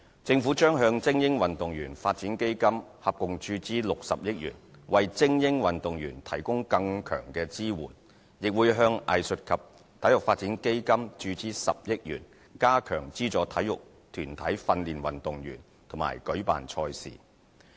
政府將向精英運動員發展基金合共注資60億元，為精英運動員提供更強支援，亦會向藝術及體育發展基金注資10億元，加強資助體育團體訓練運動員和舉辦賽事。